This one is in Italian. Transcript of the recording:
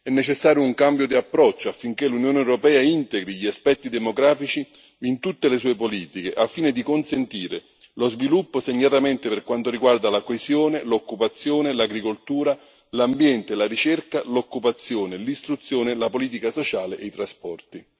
È necessario un cambio di approccio, affinché l'Unione europea integri gli aspetti demografici in tutte le sue politiche, al fine di consentire lo sviluppo, segnatamente per quanto riguarda la coesione, l'occupazione, l'agricoltura, l'ambiente, la ricerca, l'occupazione, l'istruzione, la politica sociale e i trasporti.